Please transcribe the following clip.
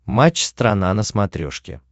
матч страна на смотрешке